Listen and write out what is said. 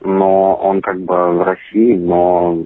ну он как бы в россии но